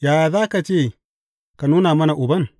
Yaya za ka ce, Ka nuna mana Uban’?